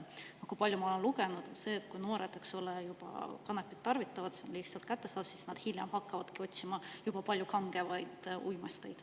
Ma olen palju lugenud, et kui noored juba kanepit tarvitavad, see on lihtsasti kättesaadav, siis nad hiljem hakkavad otsima juba palju kangemaid uimasteid.